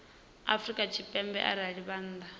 afrika tshipembe arali vha nnḓa